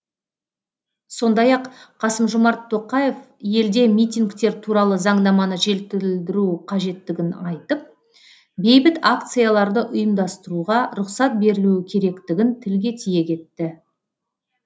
сондай ақ қасым жомарт тоқаев елде митингтер туралы заңнаманы жетілдіру қажеттігін айтып бейбіт акцияларды ұйымдастыруға рұқсат берілуі керектігін тілге тиек етті